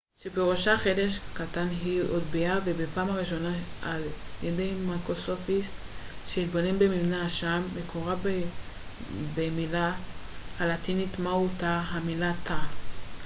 "מהו תא? המילה תא cell מקורה במילה הלטינית "cella" שפירושה "חדר קטן" והיא הוטבעה בפעם הראשונה על ידי מיקרוסקופיסט שהתבונן במבנה השעם.